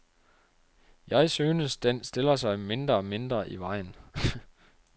Jeg synes, den stiller sig mindre og mindre i vejen.